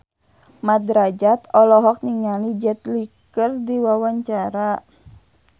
Mat Drajat olohok ningali Jet Li keur diwawancara